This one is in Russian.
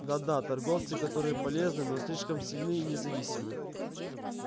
да да торговцы которые полезны но слишком сильны и независимы